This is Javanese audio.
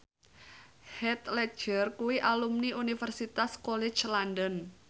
Heath Ledger kuwi alumni Universitas College London